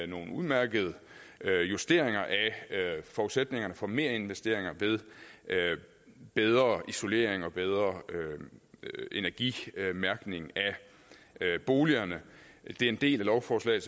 nogle udmærkede justeringer af forudsætningerne for merinvesteringer ved bedre isolering og bedre energimærkning af boligerne den del af lovforslaget